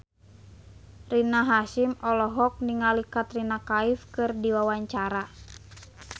Rina Hasyim olohok ningali Katrina Kaif keur diwawancara